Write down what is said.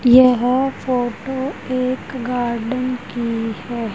यह फोटो एक गार्डेन की हैं।